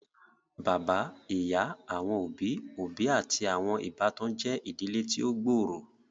Bàbá, ìyá, àwọn òbí òbí àti àwọn ìbátan je ìdílé tí o gb'ọrọ.